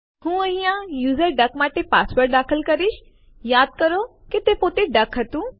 હું અહિયાં user duck માટે પાસવર્ડ દાખલ કરીશ યાદ કરો કે તે પોતે ડક હતું